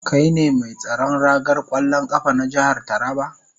Kai ne mai tsaron ragar kwallon kafa na jihar Taraba?